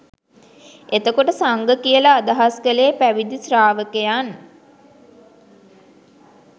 එතකොට සංඝ කියල අදහස් කළේ පැවිදි ශ්‍රාවකයන්